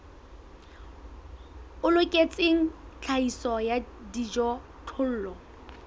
o loketseng tlhahiso ya dijothollo